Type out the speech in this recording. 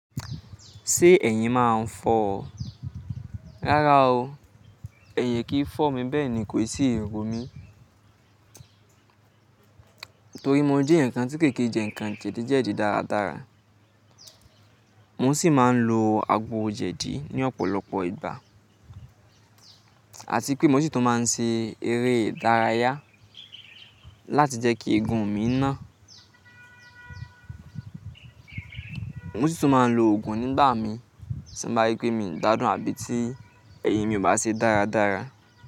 Ṣé ẹ̀yin máa ń fọ́ ọ? Rárá o, ẹ̀yin kì í fọ́ mi, bẹ́ẹ̀ ni kò sì ń ro mí. Nítorí mo jẹ́ ǹkan tí kèké jẹ ǹkan jẹ̀díjẹ̀dí dáradára. Mo sì máa ń lo agbo jẹ̀dí ní ọ̀pọ̀lọpọ̀ ìgbà àti pé mo sì tún máa ń se eré ìdárayá láti jẹ́ kí eegun mi ná. Mo sì tún máa ń lo òògùn nígbà mi tí mo bá rí pé mi o gbádùn àbí tí ẹyin mi ò bá ṣe dáradára.